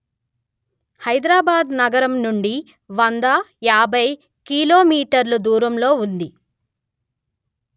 హైదరాబాద్ నగరం నుండి వంద యాభై కిలో మీటర్ల దూరంలో ఉంది